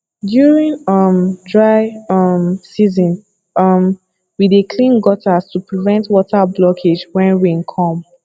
during um dry um season um we dey clean gutters to prevent water blockage when rain come